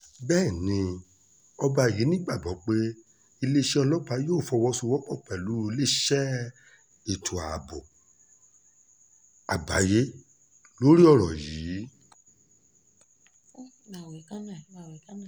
bẹ́ẹ̀ ni ọba yìí nígbàgbọ́ pé iléeṣẹ́ ọlọ́pàá yóò fọwọ́sowọ́pọ̀ pẹ̀lú iléeṣẹ́ ètò ààbò àgbáyé lórí ọ̀rọ̀ yìí